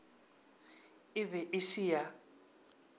e be e se ya